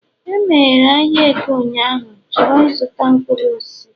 e meghere ahịa eke ụnyahụ? chọrọ ịzụta mkpuru osisi